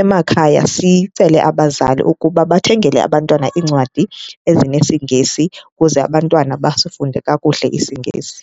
Emakhaya sicele abazali ukuba bathengele abantwana iincwadi ezinesiNgesi ukuze abantwana basifunde kakuhle isiNgesi.